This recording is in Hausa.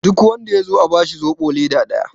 duk wanda ya zo a bashi zobo leda daya!